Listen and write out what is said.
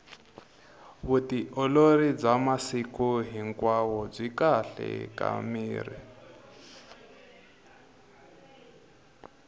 vutiolori bya masiku hinkwao byi kahle ka miri